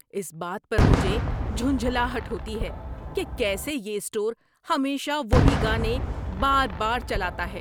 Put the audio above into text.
اس بات پر مجھے جھنجھلاہٹ ہوتی ہے کہ کیسے یہ اسٹور ہمیشہ وہی گانے بار بار چلاتا ہے۔